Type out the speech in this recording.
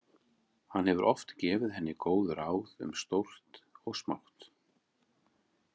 Hann hefur oft gefið henni góð ráð um stórt og smátt.